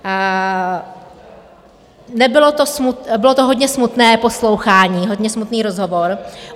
Bylo to hodně smutné poslouchání, hodně smutný rozhovor.